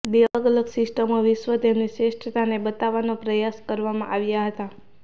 બે અલગ અલગ સિસ્ટમો વિશ્વ તેમની શ્રેષ્ઠતાને બતાવવાનો પ્રયાસ કરવામાં આવ્યા હતા